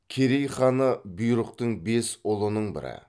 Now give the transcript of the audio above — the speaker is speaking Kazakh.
керей ханы бұйрықтың бес ұлының бірі